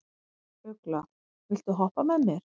Ugla, viltu hoppa með mér?